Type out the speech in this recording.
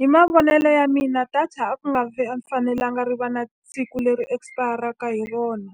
Hi mavonelo ya mina data a ku nga a ku fanelanga ri va na siku leri expire-aka hi rona.